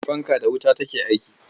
Fanka da wuta take aiki.